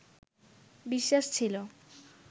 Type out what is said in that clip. বিশ্বাস ছিল